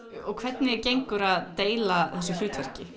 og hvernig gengur að deila þessu hlutverki